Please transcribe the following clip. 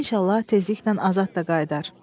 İnşallah tezliklə Azad da qayıdar.